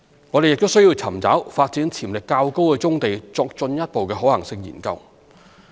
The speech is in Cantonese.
我們亦需要尋找發展潛力較高的棕地作進一步的可行性研究。